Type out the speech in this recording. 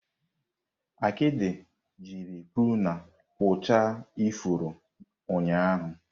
Akidi jiri pruna kpụchaa ifuru ụnyahụ.